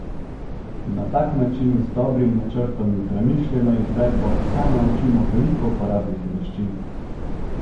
Na tak način z dobrim načrtom in premišljeno izvedbo psa naučimo veliko uporabnih veščin.